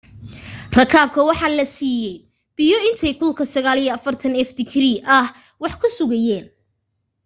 rakaabka waxa la saiiyay biyo intay kulka 90f digrii ah wax ku sugayeen